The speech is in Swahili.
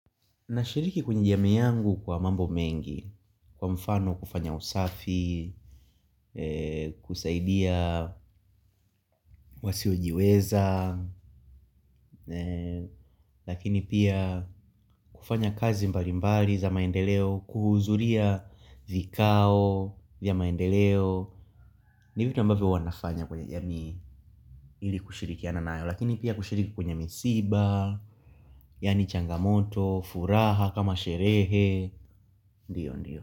Nashiriki kwenye jamii yangu kwa mambo mengi, kwa mfano kufanya usafi, kusaidia wasiojiweza, lakini pia kufanya kazi mbalimbali za maendeleo kuhudhuria vikao vya maendeleo ni vitu ambavyo huwa nafanya yaani ili kushirikiana nayo lakini pia kushiriki kwenye misiba yaani changamoto, furaha, kama sherehe, ndio ndio.